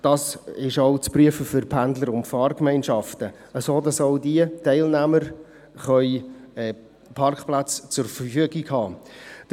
Das ist auch für Pendler und Fahrgemeinschaften zu prüfen, sodass auch diese Teilnehmer Parkplätze zur Verfügung haben können.